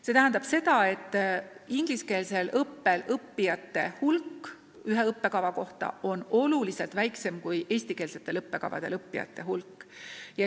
See tähendab seda, et ingliskeelsel õppel õppijate hulk ühe õppekava kohta on märksa väiksem kui eestikeelsetel õppekavadel õppijate hulk.